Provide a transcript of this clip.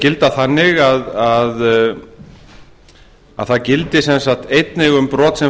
gilda þannig að það gildi sem sagt einnig um brot sem